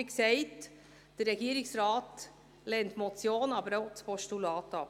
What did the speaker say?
Wie gesagt, der Regierungsrat lehnt die Motion, aber auch das Postulat ab.